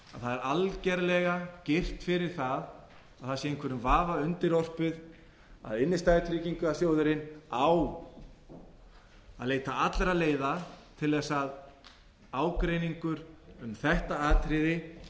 að það er algerlega girt fyrir það að það sé einhverjum vafa undirorpið að innstæðutryggingarsjóðurinn á að leita allra leiða til þess að ágreiningur um þetta atriði